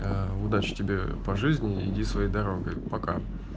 ээ удачи тебе по жизни иди своей дорогой пока